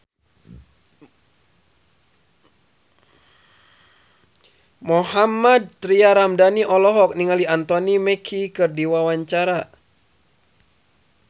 Mohammad Tria Ramadhani olohok ningali Anthony Mackie keur diwawancara